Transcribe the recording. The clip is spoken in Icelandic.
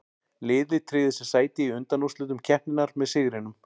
Liðið tryggði sér sæti í undanúrslitum keppninnar með sigrinum.